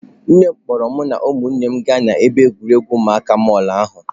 Nne m kpọrọ mụ na ụmụnne m gaa n'ebe egwuregwu ụmụaka mall ahụ.